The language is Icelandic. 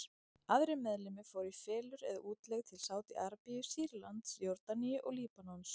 Aðrir meðlimir fóru í felur eða útlegð til Sádi-Arabíu, Sýrlands, Jórdaníu og Líbanons.